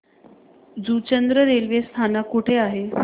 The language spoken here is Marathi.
जुचंद्र रेल्वे स्थानक कुठे आहे